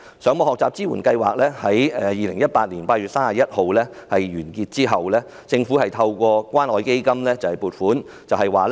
上網學習支援計劃在2018年8月31日完結之後，政府透過關愛基金撥款。